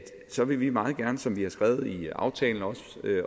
så vil vi meget gerne som vi har skrevet i aftalen og